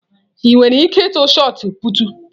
Ị nwere ike ịtụ shọt pụtụ?